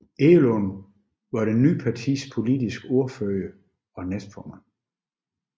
Egelund var det nye partis politiske ordfører og næstformand